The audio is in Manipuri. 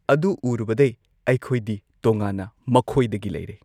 ꯑꯗꯨ ꯎꯔꯨꯕꯗꯩ ꯑꯩꯈꯣꯏꯗꯤ ꯇꯣꯉꯥꯟꯅ ꯃꯈꯣꯏꯗꯒꯤ ꯂꯩꯔꯦ꯫